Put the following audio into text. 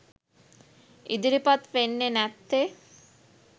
ඉදිරිපත් වෙන්නේ නැත්තේ?